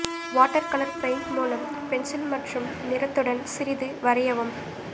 watercolour paint மூலம் pencil மற்றும் நிறத்துடன் சிறிது வரையவும்